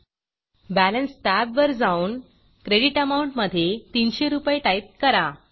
balance टॅबवर जाऊन credit credit amount मधे 300 रूपये टाईप करा